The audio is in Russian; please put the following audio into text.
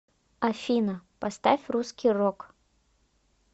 афина поставь русский рок